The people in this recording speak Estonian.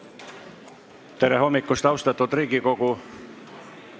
Tere hommikust, austatud Riigikogu!